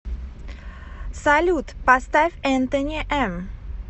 салют поставь энтони м